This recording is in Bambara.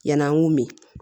Yann'an k'u min